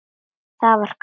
Það var gaman.